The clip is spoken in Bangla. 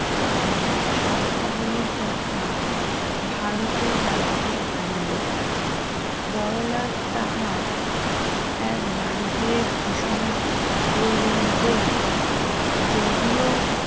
শর্তাবলির কথা ভারতে জানিতে ভারী লোক বড়লাদ তাহার এক বাণীতে ঘোষণা করলেন যে যদিও